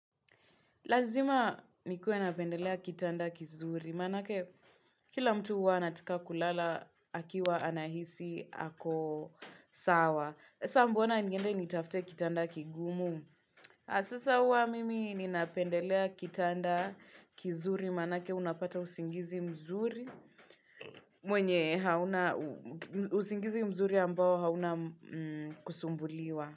Lazima nikue napendelea kitanda kizuri, manake kila mtu huwa anataka kulala akiwa anahisi ako sawa. Sasa mbona niende nitafute kitanda kigumu? Na sasa huwa mimi ni napendelea kitanda kizuri, manake unapata usingizi mzuri mwenye hauna, usingizi mzuri ambao hauna kusumbuliwa.